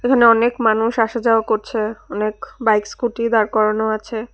এখানে অনেক মানুষ আসা যাওয়া করছে অনেক বাইক স্কুটি দাঁড় করানো আছে।